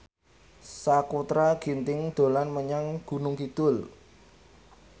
Sakutra Ginting dolan menyang Gunung Kidul